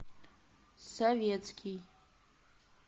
советский